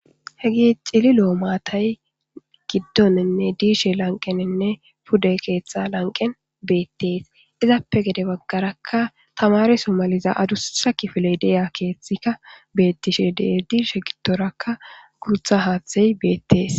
hegi cilil7o maatay giddoninne diishe lanqeninne pude keeththa lanqen beettees izappe gede baggarakka tamare somaliza adussa kifile deeya keeththika bettishe der diishe gidtorakka gurtha haaththey beettees